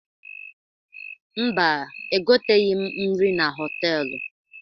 Mba, egoteghi m nri na họtelụ.